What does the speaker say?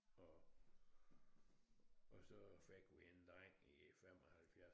Og og så fik vi en dreng i 75